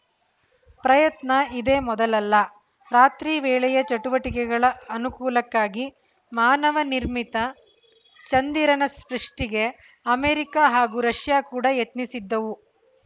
ಪ್ರಯತ್ನ ಇದೇ ಮೊದಲಲ್ಲ ರಾತ್ರಿ ವೇಳೆಯ ಚಟುವಟಿಕೆಗಳ ಅನುಕೂಲಕ್ಕಾಗಿ ಮಾನವ ನಿರ್ಮಿತ ಚಂದಿರನ ಸೃಷ್ಟಿಗೆ ಅಮೆರಿಕ ಹಾಗೂ ರಷ್ಯಾ ಕೂಡ ಯತ್ನಿಸಿದ್ದವು